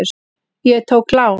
Ég tók lán.